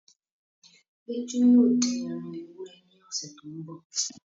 Péjú yóò dín ẹran ewúrẹ́ ní ọsẹ tó n bọ